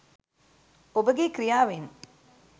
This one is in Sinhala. ඔබගේ ක්‍රියාවෙන්